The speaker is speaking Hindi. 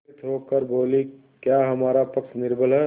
विस्मित होकर बोलीक्या हमारा पक्ष निर्बल है